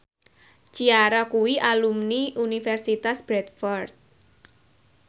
Ciara kuwi alumni Universitas Bradford